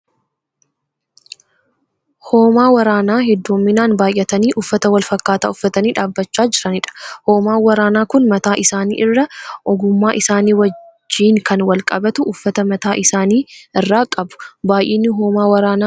Hoomaa waraanaa hedduminaan baayyatanii uffata wal fakkaaataa uffatanii dhaabbachaa jiranidha. Hoomaan waraanaa kun mataa isaanii irraa ogummaa isaanii wajjii kan wal qabatu uffata mataa isaanii irraa qabu, Baayyinni hoomaa waraanaa kun meeqa taha?